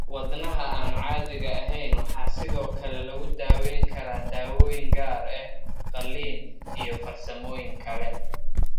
Wadnaha aan caadiga ahayn waxaa sidoo kale lagu daweyn karaa daawooyin gaar ah, qaliin, iyo/ama farsamooyin kale.